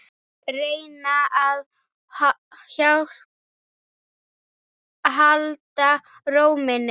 Reyna að halda ró minni.